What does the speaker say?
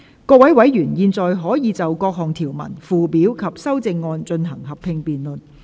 各位委員現在可以就各項條文、附表及修正案，進行合併辯論。